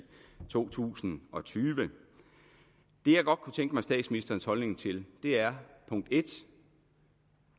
to tusind og tyve det jeg godt kunne tænke mig statsministerens holdning til er punkt 1